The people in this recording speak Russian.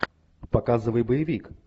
показывай боевик